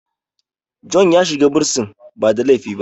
John ya shiga bursin ba da laifi ba